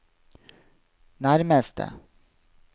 nærmeste